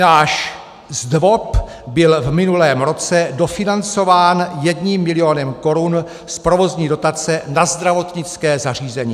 Náš ZDVOP byl v minulém roce dofinancován jedním milionem korun z provozní dotace na zdravotnické zařízení."